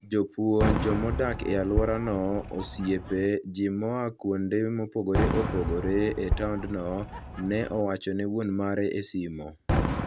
Jopuonj, joma odak e alworano, osiepe, ji moa kuonde mopogore opogore e taondno", ne owacho ne wuon mare e simo.